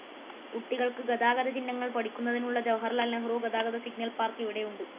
കുട്ടികൾക്ക് ഗതാഗത ചിഹ്‌നങ്ങൾ പഠിക്കുന്നതിനുള്ള ജവഹർലാൽ നെഹ്‌റു ഗതാഗത സിഗ്നൽ പാർക്ക്‌ ഇവിടെയുണ്ട്.